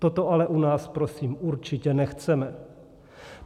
Toto ale u nás prosím určitě nechceme.